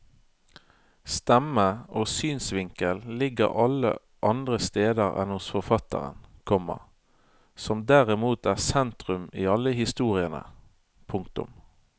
Stemme og synsvinkel ligger alle andre steder enn hos forfatteren, komma som derimot er sentrum i alle historiene. punktum